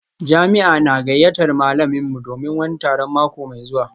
Jami'a na gayyatar malaminmu don wani taron mako mai zuwa